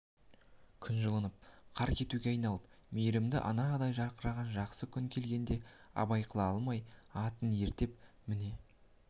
күн жылынып қар кетуге айналып мейрімді анадай жарқыраған жақсы күн келгенде абай қыла алмай атын ерттеп міне